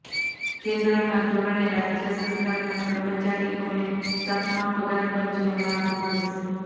કેન્દ્રના ધોરણે રાજ્ય સરકારના કર્મચારીઓને સાતમા પગારપંચનો લાભ મળશે